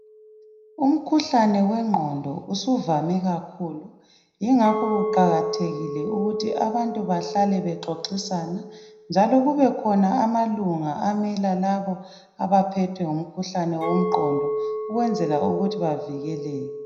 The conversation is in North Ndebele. Umkhuhalne wengqondo usuvame kakhulu. Yingakho kuqakathekile ukuthi abantu bahlale bexoxisana, njalo kubekhona amalunga amela labo abaphethwe ngumkhuhlane womqondo ukwenzela ukuthi bavikeleke.